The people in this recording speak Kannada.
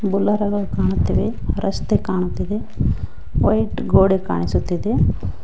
ಬುಲೋರಗಳ್ ಕಾಣುತ್ತಿವೆ ರಸ್ತೆ ಕಾಣುತ್ತಿದೆ ವೈಟ್ ಗೋಡೆ ಕಾಣಿಸುತ್ತಿದೆ.